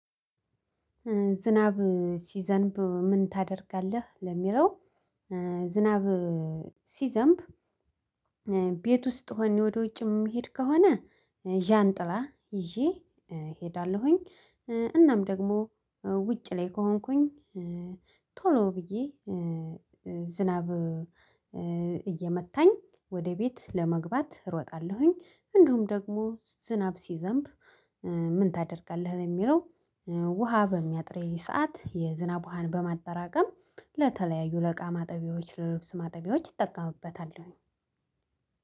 ዝናብ ሲዘንብ ምን ታደርጋለህ ለሚለው? ኧ ዝናብ ሲዘንብ ቤት ውስጥ ሆኘ ወደ ውጭም እምሄድ ከሆነ ዣን ጥላ ይዤ ኧ እሄዳለሁኝ። ኧ እናም ደግሞ ውጭ ላይ ከሆንኩኝ ኧ ቶሎ ብዬ ዝናብ እየመታኝ ወደ ቤት ለመግባት እሮጣለሁኝ። እንደውም ደግሞ ዝናብ ሲዘንብ ኧ ምን ታደርጋለህ ለሚለው? ውሃ በሚያጥረኝ ሰዓት የዝናብ ውሃን በማጠራቀም ለተለያዩ ለእቃ ማጠቢያዎች ለልብስ ማጠቢያዎች ይጠቀምበታለሁኝ።